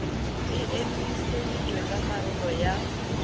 e emiseditswe ka karolo ya